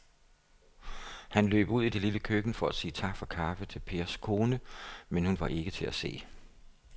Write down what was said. Han løb ud i det lille køkken for at sige tak for kaffe til Pers kone, men hun var ikke til at se.